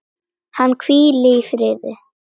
Hann hvíli í friði.